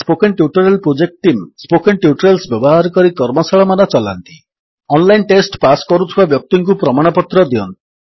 spoken tutorial project team spoken tutorials ବ୍ୟବହାର କରି କର୍ମଶାଳାମାନ ଚଲାନ୍ତି ଅନଲାଇନ୍ ଟେଷ୍ଟ ପାସ୍ କରୁଥିବା ବ୍ୟକ୍ତିଙ୍କୁ ପ୍ରମାଣପତ୍ର ଦିଅନ୍ତି